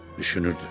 Düşünürdü: